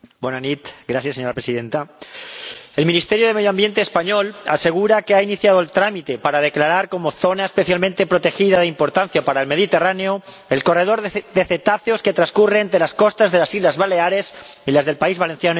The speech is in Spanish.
Señora Presidenta, el Ministerio de Medio Ambiente español asegura que ha iniciado el trámite para declarar como zona especialmente protegida de importancia para el Mediterráneo el corredor de cetáceos que transcurre entre las costas de las Islas Baleares y las del País Valenciano y Cataluña.